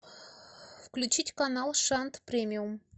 включить канал шант премиум